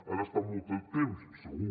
han estat molt de temps segur